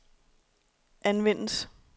anvendes